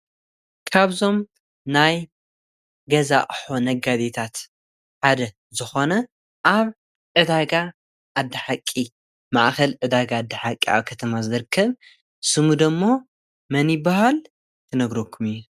ካብዞም ናይ ገዛ ኣቕሑ ነጋዴታት ሓደ ዝኾነ ኣብ ዕዳጋ ዓደሓቂ ማኣኸል ዕዳጋ ዓደሓቂ ኸተማ ዝርከብ ስሙዶ እሞ መኒበሃል ክነግረኩም እየ።